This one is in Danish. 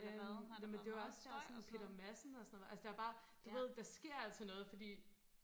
øhm jamen det var også der sådan Peter Madsen og sådan noget var altså der var bare du ved der sker altid noget fordi